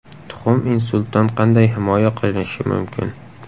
Tuxum insultdan qanday himoya qilishi mumkin?.